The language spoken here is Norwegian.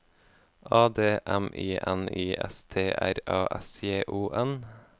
A D M I N I S T R A S J O N